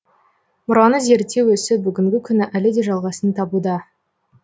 мұраны зерттеу ісі бүгінгі күні әлі де жалғасын табуда